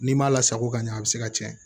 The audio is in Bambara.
N'i m'a lasago ka ɲɛ a bɛ se ka cɛn